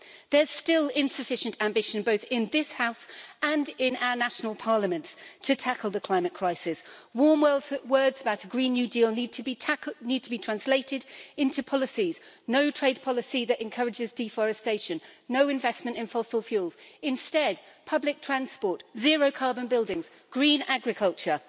There's still insufficient ambition both in this House and in our national parliaments to tackle the climate crisis. Warm words about a Green New Deal need to be translated into policies no trade policy that encourages deforestation and no investment in fossil fuels instead, public transport, zero carbon buildings, green agriculture.